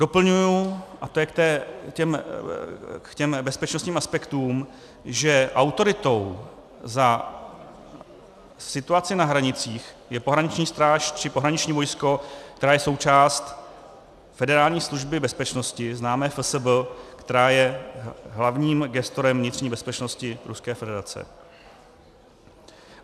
Doplňuji, a to je k těm bezpečnostním aspektům, že autoritou za situaci na hranicích je pohraniční stráž či pohraniční vojsko, která je součást Federální služby bezpečnosti, známé FSB, která je hlavním gestorem vnitřní bezpečnosti Ruské federace.